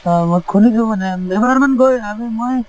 হয় মই শুনিছোঁ মানে এবাৰ মান গৈ মই